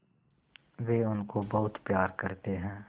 वे उनको बहुत प्यार करते हैं